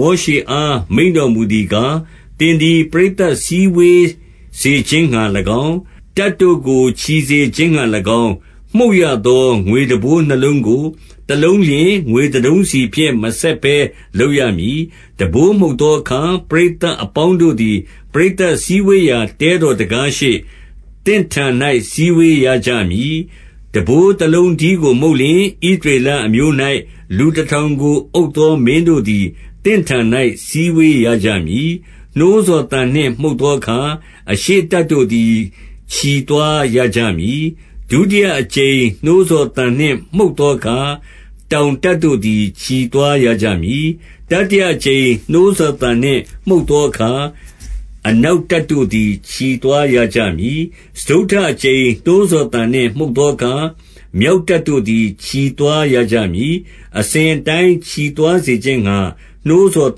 မောရှေအား မိန့်တော်မူသည်ကား 2 သင်သည် ပရိသတ်စည်းဝေးစေခြင်းငှါ၎င်း၊ တပ်တို့ကို ချီစေခြင်းငှါ၎င်း၊ မှုတ်ရသော ငွေတံပိုးနှစ်လုံး ကို၊ တလုံးလျှင် ငွေတတုံးစီဖြင့် မဆက်ဘဲလုပ်ရမည်။ 3 တံပိုးမှုတ်သောအခါ၊ ပရိသတ်အပေါင်းတို့သည် ပရိသတ်စည်းဝေးရာ တဲတော်တံခါးရှေ့၊ သင့်ထံ၌ စည်းဝေးရကြမည်။ 4 တံပိုးတလုံးတည်းကို မှုတ်လျှင်၊ ဣသရေလ အမျိုး၌ လူတထောင်ကို အုပ်သောမင်းတို့သည် သင့်ထံ၌ စည်းဝေးရကြမည်။ 5 နှိုးဆော်သံနှင့်မှုတ်သောအခါ၊ အရှေ့တပ်တို့ သည် ချီသွားရကြမည်။ 6 ဒုတိယအကြိမ်နှိုးဆော်သံနှင့် မှုတ်သောအခါ၊ တောင်တပ်တို့ သည် ချီသွားရကြမည်။ တတိယအကြိမ် နှိုးဆော်သံနှင့် မှုတ်သောအခါ၊ အနောက်တပ်တို့သည် ချီသွားရကြမည်။ စတုတ္ထအကြိမ်နှိုးဆော်သံနှင့် မှုတ်သော အခါ၊ မြောက်တပ်တို့သည် ချီသွားရကြမည်။ အစဉ်အတိုင်း ချီသွားစေခြင်းဌာနှိုးဆောင်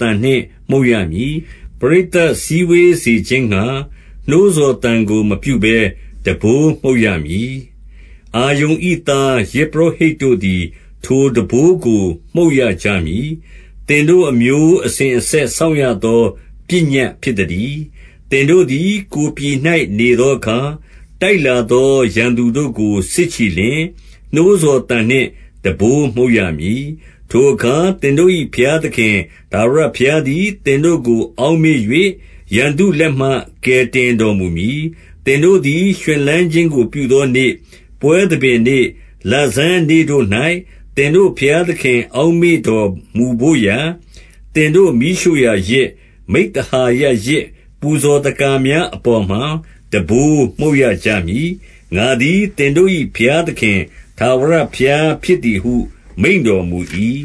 သံနှင့်မှုတ်ရ မည်။ 7 ပရိသတ်စည်းဝေးစေခြင်းငှါ နှိုးဆော်သံကို မပြု ဘဲ တံပိုးမှုတ်ရမည်။ 8 အာရုန်၏ သား၊ ယဇ်ပုရောဟိတ်တို့သည် ထိုတံပိုးကို မှုတ်ရကြမည်။ သင်တို့ အမျိုးအစဉ်အဆက် စောင့်ရသော ပညတ်ဖြစ်သတည်း။ 9 သင်တို့သည် ကိုယ်ပြည်၌ နေသောအခါ၊ တိုက် လာသောရန်သူတို့ကို စစ်ချီလျှင်၊ နှိုးဆော်သံနှင့် တံပိုး မှုတ်ရမည်။ ထိုအခါ သင်တို့၏ ဘုရားသခင်ထာဝရဘုရား သည် သင်တို့ကို အောက်မေ့၍၊ ရန်သူလက်မှ ကယ်တင် တော်မူမည်။ 10 သင်တို့သည် ရွှင်လန်းခြင်းကို ပြုသောနေ့၊ ပွဲ သဘင်နေ့လဆန်း နေ့တို့၌ သင်တို့ဘုရားသခင် အောက် မေ့တော်မူဘို့ရာ၊ သင်တို့ မီးရှို့ရာယဇ်၊ မိဿဟာယဇ် ပူဇော်သက္ကာများ၊ အပေါ်မှာ တံပိုးမှုတ်ရကြမည်။ ငါ သည် သင်တို့၏ဘုရားသခင်၊ ထာဝရဘုရားဖြစ်သည်ဟု မိန့်တော်မူ၏။ 11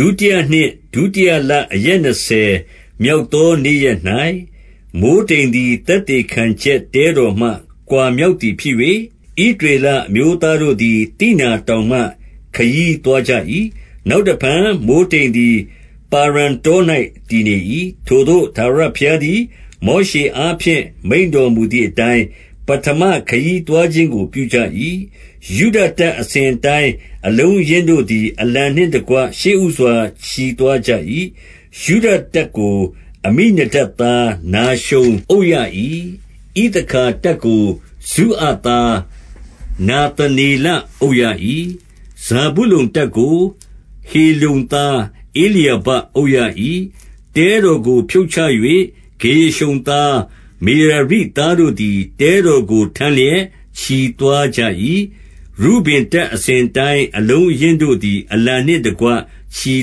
ဒုတိယနှစ်၊ ဒုတိယလ အရက်နှစ်ဆယ်မြောက် သော နေ့ရက်၌၊ မိုဃ်းတိမ်သည် သက်သေခံချက်တဲတော် မှ ကွာမြောက်သည်ဖြစ်၍၊ 12 ဣသရေလအမျိုးသားတို့သည် သိနာတောင်မှ ခရီးသွားကြ၏။ နောက်တဖန် မိုဃ်းတိမ်သည် ပါရန်တော ၌ တည်နေ၏။ 13 ထိုသို့ထာဝရဘုရားသည် မောရှေအားဖြင့် မိန့် တော်မူသည်အတိုင်း၊ ပဌမခရီးသွားခြင်းကို ပြုကြ၏။ 14 ယုဒတပ်အစဉ်အတိုင်း အလုံးအရင်းတို့သည်၊ အလံနှင့်တကွ ရှေ့ဦးစွာ ချီသွားကြ၏။ ယုဒတပ်ကို၊ အမိနဒပ်သားနာရှုန်အုပ်ရ၏။ 15 ဣသခါတပ်ကို၊ ဇုအာသားနာသနေလအုပ်၏။ 16 ဇာဗုလုန်တပ်ကို၊ ဟေလုန်သားဧလျာဘအုပ်ရ၏။ 17 တဲတော်ကိုဖြုတ်ချ၍ ဂေရရှုန်သား၊ မေရာရိသား တို့သည် တဲတော်ကို ထမ်းလျက်ချီသွားကြ၏။ 18 ရုဗင်တပ်အစဉ်အတိုင်း၊ အလုံးအရင်းတို့သည် အလံနှင့်တကွ ချီ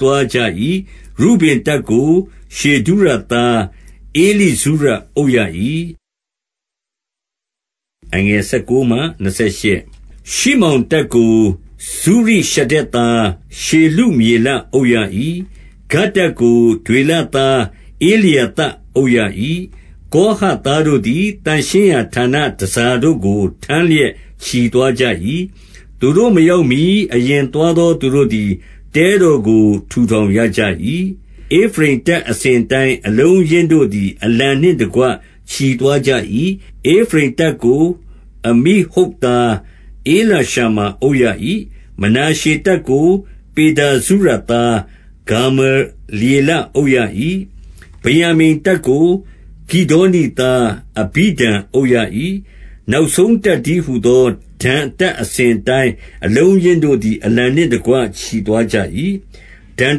သွားကြ၏။ ရုဗင်တပ်ကို ရှေဒုရသား ဧလိဇုရအုပ်ရ၏။ 19 ရှိမောင်တပ်ကို ဇုရိရှဒ္ဒဲသားရှေလုမျေလအုပ် ရ၏။ 20 ဂဒ်တပ်ကို ဒွေလသားဧလျာသပ်အုပ်ရ၏။ 21 ကောဟတ်သားတို့သည် သန့်ရှင်းရာဌာန တန်ဆာတို့ကို ထမ်းလျက် ချီသွားကြ၏။ သူတို့မရောက်မှီ အရင်သွားသော သူတို့သည် တဲတော်ကို ထူထောင် ရကြ၏။ 22 ဧဖရိမ်တပ်အစဉ်အတိုင်း အလုံးအရင်းတို့သည် အလံနှင့်တကွ ချီသွားကြ၏။ ဧဖရိမ်တပ်ကို အမိဟုဒ် သား ဧလိရှမာအုပ်ရ၏။ 23 မနာရှေတပ်ကို ပေဒါဇုရသား ဂါမလျေလ အုပ်ရ၏။ 24 ဗင်္ယာမိန်တပ်ကို ဂိဒေါနိသား အဘိဒန်အုပ် ရ၏။ 25 နောက်ဆုံးတပ်တည်းဟူသော ဒန်တပ်အစဉ် အတိုင်း အလုံးအရင်းတို့သည် အလံနှင့်တကွ ချီသွားကြ ၏။ ဒန်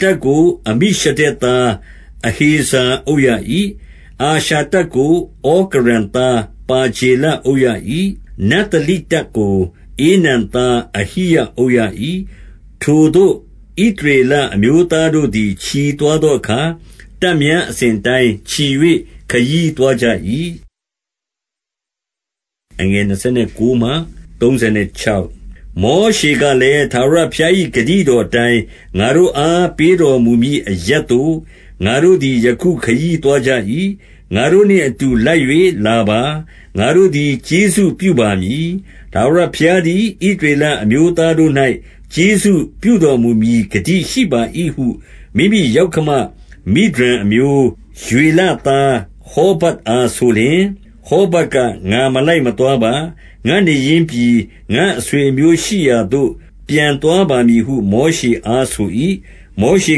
တပ်ကို အမိရှဒ္ဒဲသား အဟေဇာအုပ်ရ၏။ 26 အာရှာတပ်ကို ဩကရန်သားပါဂျေလအုပ် ရ၏။ 27 နဿလိတပ်ကိုဧနန်သားအဟိရအုပ်ရ၏။ 28 ထိုသို့ဣသရေလ အစဉ်အတိုင်း ချီ၍ ခရီးသွား ကြ၏။ 29 မောရှေကလည်း၊ ထာဝရဘုရားသည် ဂတိ တော်အတိုင်း ငါတို့အား ပေးတော်မူမည်အရပ်သို့ ငါတို့ သည် ယခုခရီးသွားကြ၏။ ငါတို့နှင် အတူလိုက်၍လာပါ။ ငါတို့သည် ကျေးဇူးပြုပါမည်။ ထာဝရဘုရားသည် ဣသရေလအမျိုးသားတို့၌ ကျေးဇူးပြုတော်မူမည် ဂတိရှိပါ၏ဟု မိမိယောက္ခမမိဒျန်အမျိုး၊ ရွေလသား၊ ဟောဗပ်အားဆိုလျှင်၊ 30 ဟောဗပ်က ငါမလိုက်မသွားပါ၊ ငါ့နေရင်းပြည်၊ ငါ့အဆွေအမျိုးရှိရာ သို့ ပြန်သွားပါမည်ဟု မောရှေအား ဆို၏။ 31 မောရှေ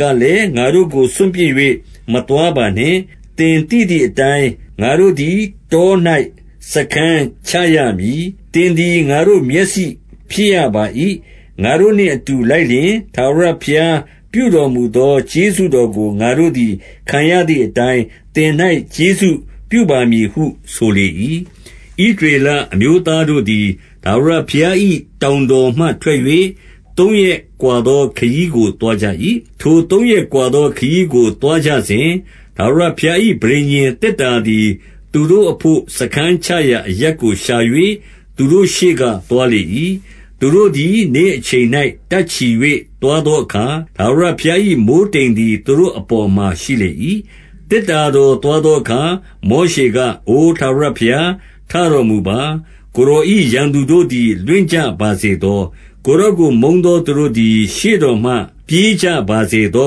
ကလည်း၊ ငါတို့ကို စွန့်ပစ်၍ မသွားပါ နှင့်။ သင်သိသည်အတိုင်း ငါတို့သည်တော၌ စားခန်းချရမည်။ သင်သည် ငါတို့မျက်စိဖြစ် ရပါ၏။ 32 ငါတို့နှင့် အတူလိုက်လျှင် ထာဝရဘုရားပြုတော် မူသော ကျေးဇူးတော်ကို ငါတို့သည် ခံရသည်အတိုင်း သင့်၌ကျေးဇူးပြုပါမည်ဟု ဆိုလေ၏။ 33 ဣသရေလအမျိုးသားတို့သည် ထာဝရဘုရား၏ တောင်တော်မှထွက်၍၊ သုံးရက်ကွာသော ခရီးကို သွားကြ ၏။ ထိုသုံးရက်ကွာသော ခရီးကိုသွားကြစဉ်၊ ထာဝရ ဘုရား၏ ပဋိညာဉ်သေတ္တာသည် သူတို့အဘို့ စားခန်း ချရာအရပ်ကို ရှာ၍ သူတို့ရှေ့ကသွားလေ၏။ 34 သူတို့သည် နေ့အချိန်၌ တပ်ချီ၍ သွားသော အခါ၊ ထာဝရဘုရား၏ မိုဃ်းတိမ်သည် သူတို့အပေါ်မှာ ရှိလေ၏။ 35 သေတ္တာတော်သွားသောအခါ၊ မောရှေက အိုထာဝရဘုရား ထတော်မူပါ။ ကိုယ်တော်၏ ရန်သူတို့ သည် လွင့်ကြပါစေသော။ ကိုယ်တော်ကို မုန်းသောသူတို့ သည် ရှေ့တော်မှ ပြေးကြပါစေသော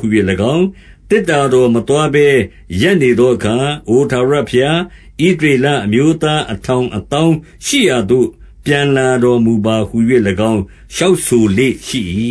ဟူ၍၎င်း၊ 36 သေတ္တာတော်မသွားဘဲ ရပ်နေသောအခါ၊ အမျိုးသားအထောင်၊ အသောင်းရှိရာသို့ ပြန်လာတော်မူ ပါဟူ၍၎င်း လျှောက်ဆိုလေ့ရှိ၏